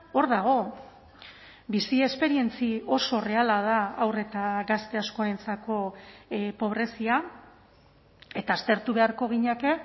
hor dago bizi esperientzia oso erreala da haur eta gazte askorentzako pobrezia eta aztertu beharko ginateke